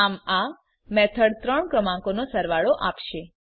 આમ આ મેથડ ત્રણ ક્રમાંકોનો સરવાળો આપશે